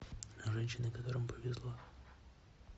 женщины которым повезло